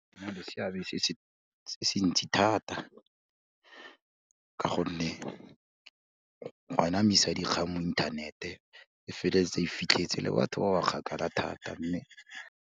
Go na le seabe se ntsi thata, ka gonne go anamisa dikgang mo inthanete e feleletsa e fitlhetse le batho ba ba kgakala thata mme.